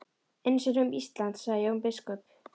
Eins er um Ísland, sagði Jón biskup.